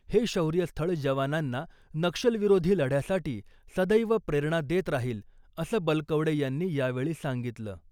हे शौर्य स्थळ जवानांना नक्षलविरोधी लढ्यासाठी सदैव प्रेरणा देत राहील , असं बलकवडे यांनी यावेळी सांगितलं .